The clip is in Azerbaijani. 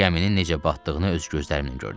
Gəminin necə batdığını öz gözlərimlə gördüm.